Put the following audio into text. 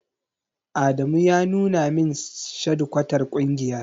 Adamu ya nuna min shadikwatar ƙungiyar.